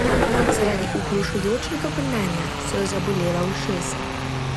Zaradi oglušujočega brnenja so jo zabolela ušesa.